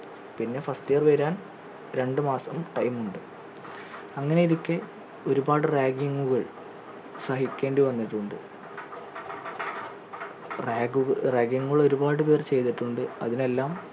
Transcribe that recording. പിന്നെ first year വരാൻ രണ്ടു മാസം time ഉണ്ട് അങ്ങനെയിരിക്കെ ഒരുപാട് ragging ഉകൾ സഹിക്കേണ്ടി വന്നിട്ടുണ്ട് rag ഉ ragging ഉകൾ ഒരുപാട് പേർ ചെയ്തിട്ടുണ്ട് അതിനെല്ലാം